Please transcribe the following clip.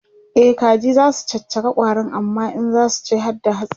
e kaji zasu caccaka ƙwarin amma in zasu ci harda hatsin